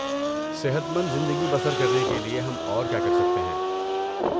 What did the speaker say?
صحت مند زندگی بسر کرنے کے لیے ہم اور کیا کر سکتے ہیں؟